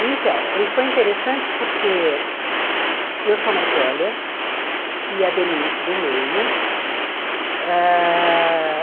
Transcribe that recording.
Então, e foi interessante porque eu sou mais velha e a Denise do meio ãh.